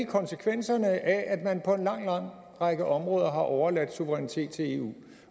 konsekvenserne af at man på en lang lang række områder har overladt suverænitet til eu